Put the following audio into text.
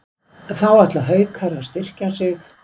Þá ætla Haukar að styrkja sig.